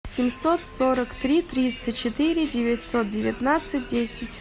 семьсот сорок три тридцать четыре девятьсот девятнадцать десять